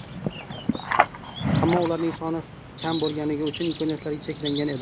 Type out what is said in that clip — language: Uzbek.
Ammo ularning soni kam bo‘lgani uchun imkoniyatlari cheklangan edi.